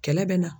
Kɛlɛ bɛ na